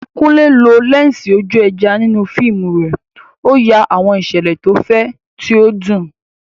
Kunle lo lẹ́ńsì ojú ẹja nínú fíìmù rẹ̀, ó ya àwọn ìṣẹ̀lẹ̀ tó fẹ̀, tí ó dùn.